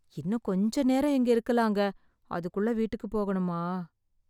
இன்னும் கொஞ்சம் நேரம் இங்க இருக்கலாம்ங்க... அதுக்குள்ள வீட்டுக்கு போகணுமா?